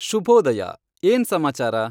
ಶುಭೋದಯ, ಏನ್ ಸಮಾಚಾರ